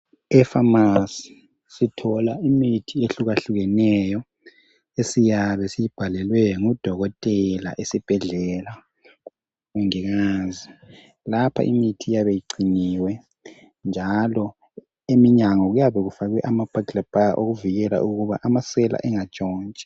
Epharmarcy sithola imithi ehlukahlukeneyo esiyabe siyibhalelwe ngudokotela esibhedlela. Lapha imithi iyabe igciniwe njalo eminyango kuyabe kufakwe ama burglar bars okuvikela ukuba amasela engantshontshi.